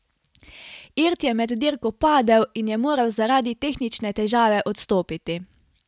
Irt je med dirko padel in je moral zaradi tehnične težave odstopiti.